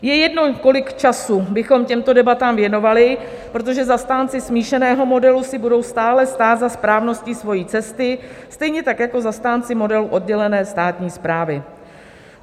Je jedno, kolik času bychom těmto debatám věnovali, protože zastánci smíšeného modelu si budou stále stát za správností svojí cesty, stejně tak jako zastánci modelu oddělené státní správy.